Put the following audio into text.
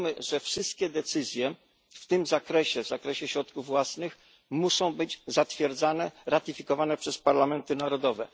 Wiemy, że wszystkie decyzje w zakresie środków własnych muszą być zatwierdzane, ratyfikowane przez parlamenty narodowe.